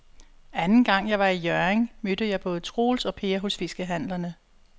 Anden gang jeg var i Hjørring, mødte jeg både Troels og Per hos fiskehandlerne.